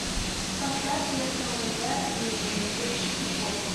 поставь я снова я и ирэн эйч ди окко